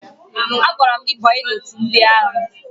Agwara m gị banye ndị agha!